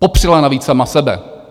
Popřela navíc sama sebe.